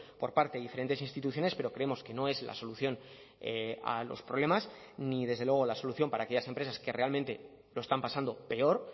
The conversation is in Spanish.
por parte de diferentes instituciones pero creemos que no es la solución a los problemas ni desde luego la solución para aquellas empresas que realmente lo están pasando peor